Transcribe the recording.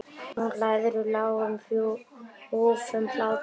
Nú hlærðu, lágum hrjúfum hlátri.